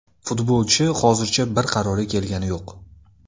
Futbolchi hozircha bir qarorga kelgani yo‘q.